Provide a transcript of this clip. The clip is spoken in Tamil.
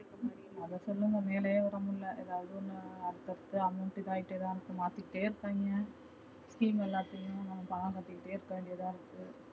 அத சொல்லுங்க மேல ஏற முல்ல எதாது ஒன்னு அப்போ அப்போ amount இதா ஆகிட்டு இருக்கு மாத்திட்டே இருப்பாங்க, scheme எல்லாத்தியும் நம்ம காலம் கட்டிட்டே இருக்கவேண்டியதா இருக்கு